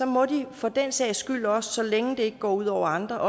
må de for den sags skyld også så længe det ikke går ud over andre